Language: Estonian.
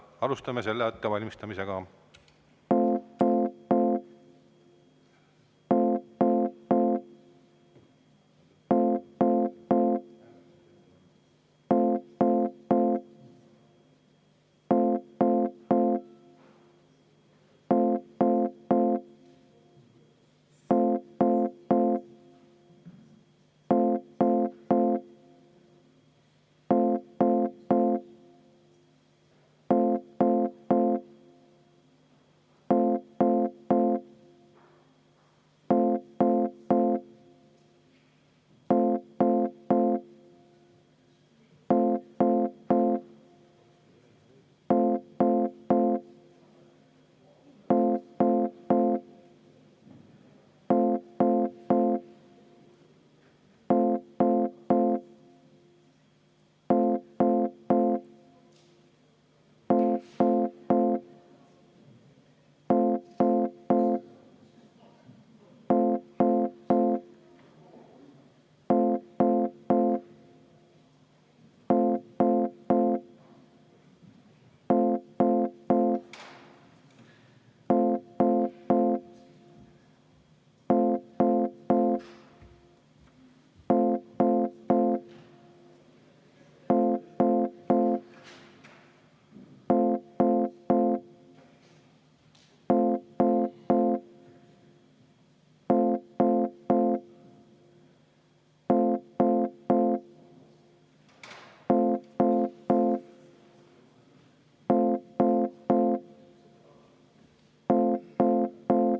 Alustame ettevalmistamist.